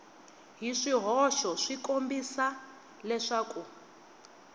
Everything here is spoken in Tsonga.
hi swihoxo ku kombisa leswaku